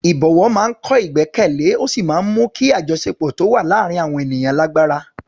Ìbọ̀wọ̀ máa ń kọ́ ìgbẹ́kẹ̀lé ó sì máa ń mú kí àjọṣepọ̀ tó wà láàárín àwọn ènìyàn lágbára.